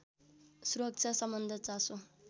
सुरक्षासम्बद्ध चासो